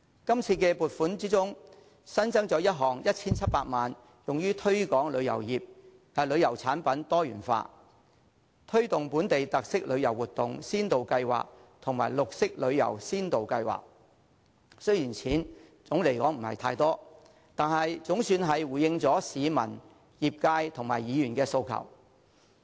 這次撥款中新增一項 1,700 萬元用於推廣旅遊產品多元化，推動本地特色旅遊活動先導計劃和綠色深度遊先導計劃，雖然總的而言金額並不多，但總算回應了市民、業界和議員的訴求。